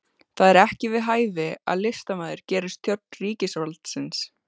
Það er ekki við hæfi að listamaður gerist þjónn ríkisvaldsins